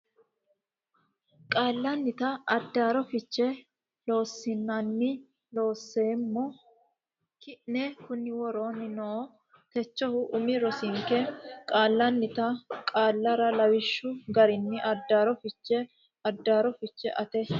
Qaallannita Addaarro Fiche Loossinanni Looseemmo ki ne kunni woroonni noo Techohu umi rosinke qaallannita qaallarra lawishshu garinni addaarro fiche addaarro fiche aate.